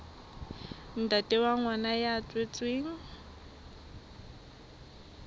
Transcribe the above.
ntate wa ngwana ya tswetsweng